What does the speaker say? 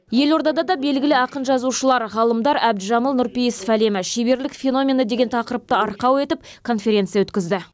елордада да белгілі ақын жазушылар ғалымдар әбдіжәміл нұрпейісов әлемі шеберлік феномені деген тақырыпты арқау етіп конференция өткізді